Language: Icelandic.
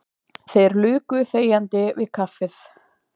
Þeir luku þegjandi við kaffið.